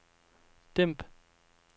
dæmp